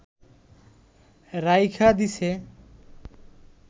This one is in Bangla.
রাইখা দিছে